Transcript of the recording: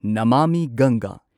ꯅꯃꯥꯃꯤ ꯒꯪꯒꯥ